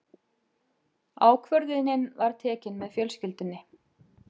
Ákvörðunin var tekin með fjölskyldunni.